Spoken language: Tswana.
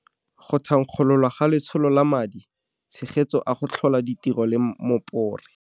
Go thankgololwa ga Letsholo la Madi tshegetso a go Tlhola Ditiro la Mopore.